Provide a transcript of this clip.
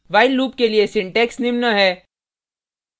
while loop के लिए syntax निम्न है